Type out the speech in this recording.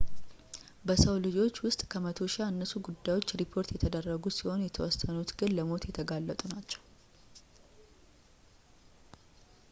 በሰው ልጆች ውስጥ ከመቶ ሺህ ያነሱ ጉዳዮች ሪፖርት የተደረጉ ሲሆን የተወሰኑት ግን ለሞት የተጋለጡ ናቸው